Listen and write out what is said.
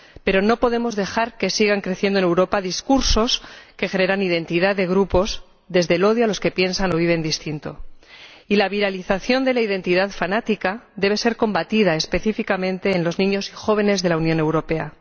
Pero no podemos dejar que sigan creciendo en Europa discursos que generan identidad de grupos desde el odio a los que piensan o viven de forma distinta. Y la viralización de la identidad fanática debe ser combatida específicamente en los niños y jóvenes de la Unión Europea.